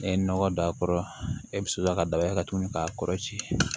N'i ye nɔgɔ don a kɔrɔ e bɛ sɔrɔ ka daba ye ka tugu k'a kɔrɔ ci